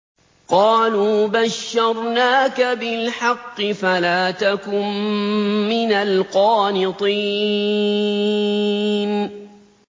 قَالُوا بَشَّرْنَاكَ بِالْحَقِّ فَلَا تَكُن مِّنَ الْقَانِطِينَ